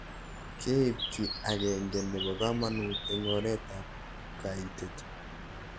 Keip kiy ag'eng'e nepo kamanut eng' oret ab kaitet